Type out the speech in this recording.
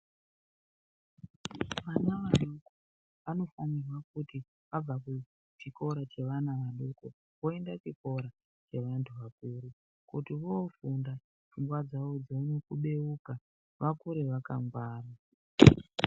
Vana vadoko vanofanirwa kuti vabva kuchikoro chevana vadoko voenda chikora chevantu vakuru kuti vofunda pfungwa dzavo dzione kubeuka vakure vakangwara .